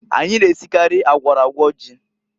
Anyị na-esikarị agwọrọ agwọ ji.